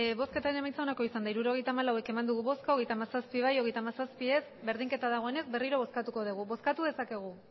hirurogeita hamalau eman dugu bozka hogeita hamazazpi bai hogeita hamazazpi ez berdinketa dagoenez berriro bozkatuko dugu bozkatu dezakegu